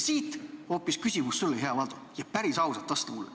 Siit küsimus sulle, hea Valdo, ja vasta mulle päris ausalt.